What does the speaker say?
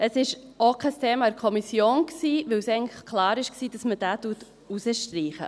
Es war auch kein Thema in der Kommission, weil eigentlich klar war, dass man dies herausstreicht.